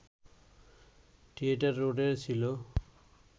theatre রোডে ছিল